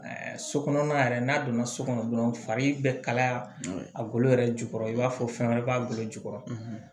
So kɔnɔna yɛrɛ n'a donna so kɔnɔ dɔrɔn fari bɛ kalaya a golo yɛrɛ jukɔrɔ i b'a fɔ fɛn wɛrɛ b'a golo jukɔrɔ